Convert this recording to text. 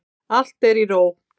Allt er í ró.